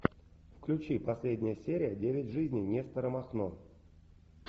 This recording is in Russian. включи последняя серия девять жизней нестора махно